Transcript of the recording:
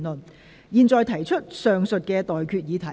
我現在向各位提出上述待決議題。